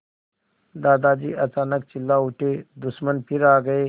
दादाजी अचानक चिल्ला उठे दुश्मन फिर आ गए